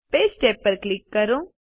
page tab પર click કરો